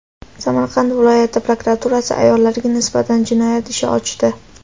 Samarqand viloyati prokuraturasi ayollarga nisbatan jinoyat ishi ochdi.